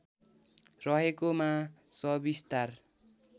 रहेको मा सविस्तार